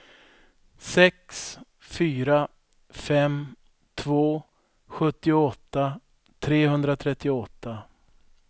sex fyra fem två sjuttioåtta trehundratrettioåtta